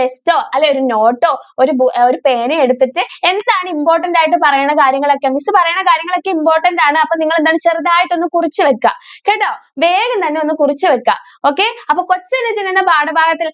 text ഓ അല്ലെങ്കിൽ ഒരു note ഓ ഒരു പേനയോ എടുത്തിട്ട് എന്താണ് important ആയിട്ട് പറയണ കാര്യങ്ങൾ ഒക്കെ miss പറയുന്ന കാര്യങ്ങൾ ഒക്കെ important ആണ്. അപ്പൊ നിങ്ങൾ എന്താ ചെറുതായിട്ട് ഒന്ന് കുറിച്ച് വെക്കുക. കേട്ടോ? വേഗം തന്നെ ഒന്ന് കുറിച്ച് വെക്കുക okay. അപ്പോ കൊച്ചനുജൻ എന്ന പാഠ ഭാഗത്ത്